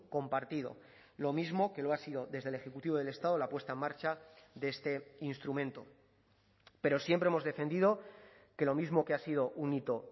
compartido lo mismo que lo ha sido desde el ejecutivo del estado la puesta en marcha de este instrumento pero siempre hemos defendido que lo mismo que ha sido un hito